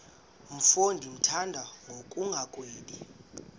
mfo ndimthanda ngokungagwebi